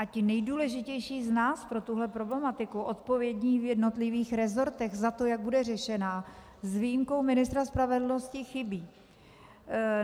A ti nejdůležitější z nás pro tuhle problematiku, odpovědní v jednotlivých resortech za to, jak bude řešena, s výjimkou ministra spravedlnosti chybí.